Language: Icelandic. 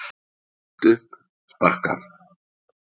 Sagt upp, sparkað.